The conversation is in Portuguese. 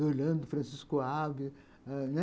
Do Orlando, do Francisco Alves, né.